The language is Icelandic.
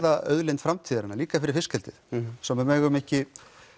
auðlind framtíðarinnar líka fyrir fiskeldið sem við megum ekki